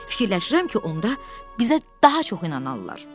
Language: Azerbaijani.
Fikirləşirəm ki, onda bizə daha çox inanarlar.